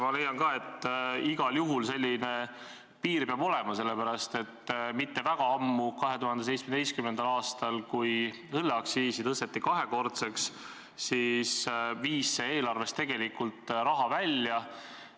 Ma leian ka, et igal juhul peab selline piir olema, sest mitte väga ammu, 2017. aastal, kui õlleaktsiis tõsteti kahekordseks, siis viis see eelarvest tegelikult raha välja.